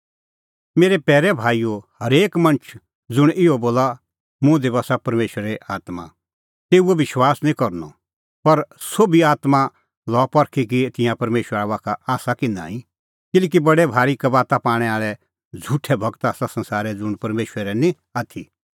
मेरै पैरै भाईओ हरेक मणछ ज़ुंण इहअ बोला मुंह दी बस्सा परमेशरे आत्मां तेऊओ विश्वास निं करनअ पर सोभी आत्मां लआ परखी कि तिंयां परमेशरा का आसा कि नांईं किल्हैकि बडै भारी कबाता पाणै आल़ै झ़ुठै गूर आसा संसारै ज़ुंण परमेशरे निं आथी